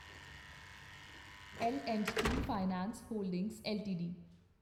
ਲ and T finance holdings LTD